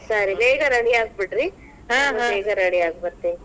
ಸರಿ ಬೇಗ ready ಆಗ್ಬೀಡ್ರಿ. ನಾನು ಬೇಗ ready ಆಗಿ ಬರ್ತೇನಿ.